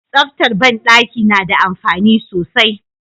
Tsaftar banɗaki nada amfani sosai